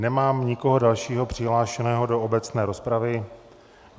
Nemám nikoho dalšího přihlášeného do obecné rozpravy.